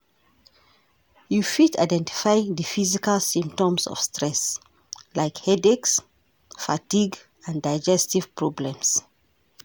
You fit identify di physical symptoms of stress like headaches, fatigue and digestive problems.